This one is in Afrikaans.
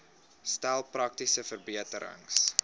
stel praktiese verbeterings